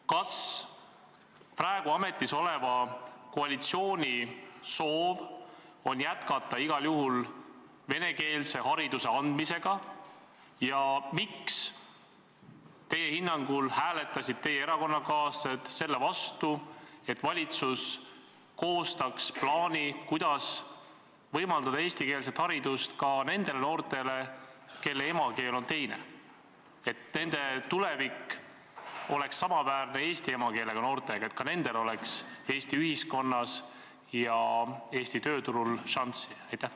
Kas praegu ametis oleva koalitsiooni soov on jätkata igal juhul venekeelse hariduse andmist ja miks teie hinnangul hääletasid teie erakonnakaaslased selle vastu, et valitsus koostaks plaani, kuidas võimaldada eestikeelset haridust ka nendele noortele, kelle emakeel on teine, et nende tulevik oleks samaväärne eesti noortega, et ka nendel oleks Eesti ühiskonnas ja Eesti tööturul šanssi?